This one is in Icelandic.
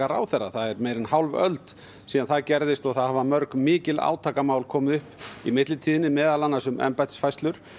ráðherra það er meira en hálf öld síðan það gerðist og það hafa mörg mikil átakamál komið upp í millitíðinni meðal annars um embættisfærslur